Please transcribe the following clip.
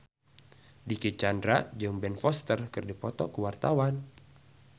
Dicky Chandra jeung Ben Foster keur dipoto ku wartawan